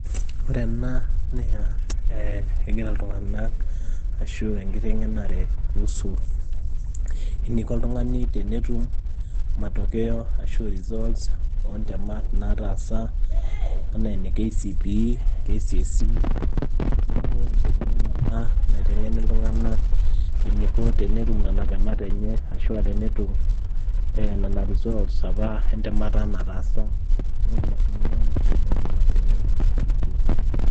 ore ena naa ee egira iltunganak ashu enkitengenera kuhusu eninko oltungani tenetum matokeo ashu results oontemat naatasa ,anaa ine KCPE KCSE